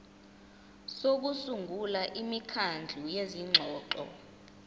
sokusungula imikhandlu yezingxoxo